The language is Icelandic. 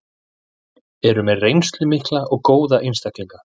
Eru með reynslu mikla og góða einstaklinga.